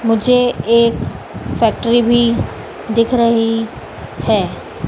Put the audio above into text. मुझे एक फैक्ट्री भी दिख रही है।